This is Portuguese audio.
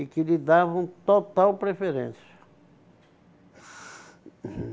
e que lhe davam total preferência.